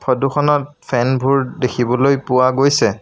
Photo খনত fan বোৰ দেখিবলৈ পোৱা গৈছে।